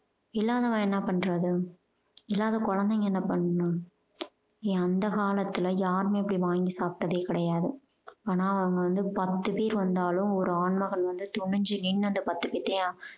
இல்லாதவன் என்ன பண்றது இல்லாத குழந்தைங்க என்ன பண்ணும் ஏன் அந்த காலத்துல யாருமே அப்படி வாங்கி சாப்பிட்டதே கிடையாது. ஆனால் அவங்க வந்து பத்து பேர் வந்தாலும் ஒரு ஆண்மகன் வந்து துணிஞ்சு நின்னு அந்த பத்து பேத்தையும்